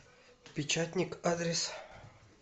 печатникъ адрес